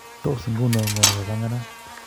Tos nguno ngo nemapanganat